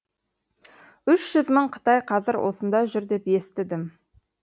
үш жүз мың қытай қазір осында жүр деп естідім